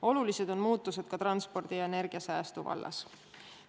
Olulised on muutused ka transpordi ja energiasäästu vallas.